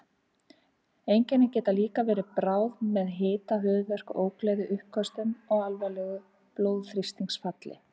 Einkennin geta líka verið bráð með hita, höfuðverk, ógleði, uppköstum og alvarlegu blóðþrýstingsfalli.